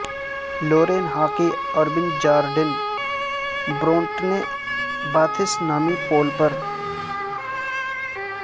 Lauren Hockey اور Ben Jordan Bronte Baths نامی پول پر